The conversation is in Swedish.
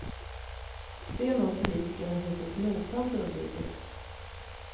Det är något politikerna hittills nogsamt undvikit.